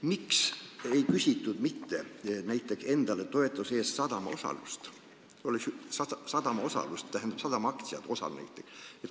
Miks ei küsitud näiteks endale toetuse eest sadama osalust, tähendab sadama aktsiaid?